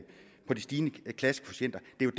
jo